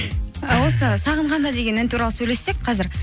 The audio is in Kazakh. ы осы сағынғанда деген ән туралы сөйлессек қазір